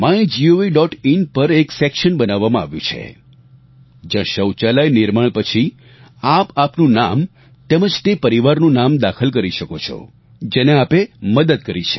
in પર એક section બનાવવામાં આવ્યું છે જ્યાં શૌચાલય નિર્માણ પછી આપ આપનું નામ તેમજ તે પરિવારનું નામ દાખલ કરી શકો છો જેને આપે મદદ કરી છે